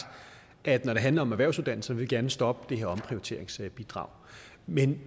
at når det handler om erhvervsuddannelserne vil vi gerne stoppe det her omprioriteringsbidrag men